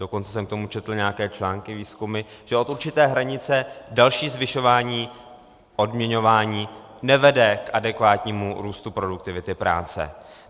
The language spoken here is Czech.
Dokonce jsem k tomu četl nějaké články, výzkumy, že od určité hranice další zvyšování odměňování nevede k adekvátnímu růstu produktivity práce.